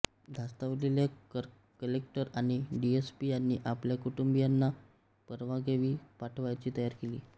धास्तावलेल्या collector आणि DSP यांनी आपल्या कुटुंबीयांना परगावी पाठवण्याची तयारी केली